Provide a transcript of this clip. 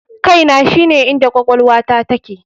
KAINA shine inda kwakwalwata take.